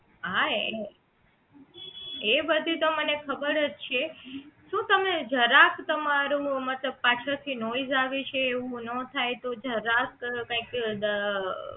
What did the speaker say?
હા એની એ બધી તો મને ખબર જ છે શું તમે જરાક તમારું મતલબ પાછળ થી આવે છે એવું નો થાય તો જરાક કંઈક અ દ